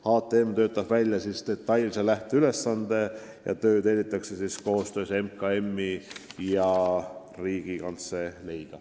HTM töötab välja detailse lähteülesande, töö tellitakse koostöös MKM-i ja Riigikantseleiga.